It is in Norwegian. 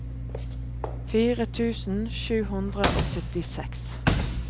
fire tusen sju hundre og syttiseks